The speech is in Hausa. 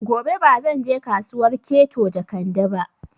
Gobe ba zan je Kasuwar Keto Jekande ba